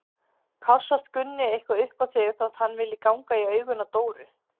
Kássast Gunni eitthvað upp á þig þótt hann vilji ganga í augun á Dóru?